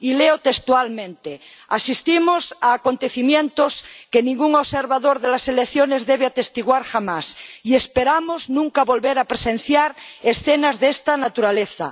Leo textualmente Asistimos a acontecimientos que ningún observador de las elecciones debe atestiguar jamás, y esperamos no volver a presenciar escenas de esta naturaleza.